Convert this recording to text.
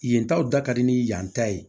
Yen taw da ka di ni yan ta ye